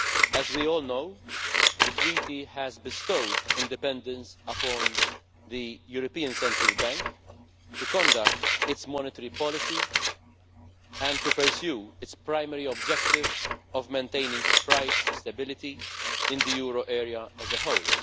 As we all know, the Treaty has bestowed independence upon the European Central Bank to conduct its monetary policy and to pursue its primary objective of maintaining price stability in the euro area as a whole.